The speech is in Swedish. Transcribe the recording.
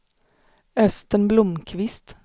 Östen Blomqvist